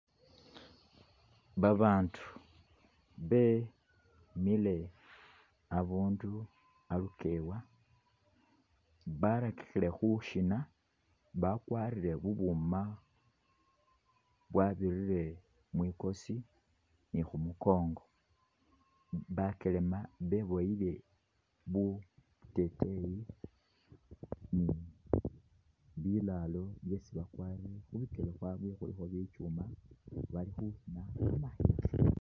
Babandu bemile abundu alukewa, barakikhire khushina bakwarire bu buuma bwabirire mwikosi ni khumukongo, bakyelema beboyile bu teteyi ni biraro byesi bakwarire, khubikele khwaabwe khulikho bikyuma bali khushina kamashina.